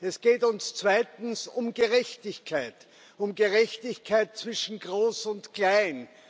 Es geht uns zweitens um Gerechtigkeit, um Gerechtigkeit zwischen Groß und Klein.